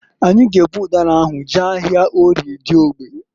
Anyị g'ebu ụdara ahụ jee ahịa Orie Diogbe.